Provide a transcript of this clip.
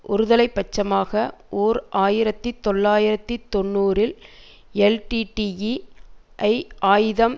ஒருதலை பட்சமாக ஓர் ஆயிரத்தி தொள்ளாயிரத்தி தொன்னூறில் எல்டிடிஇ ஐ ஆயுதம்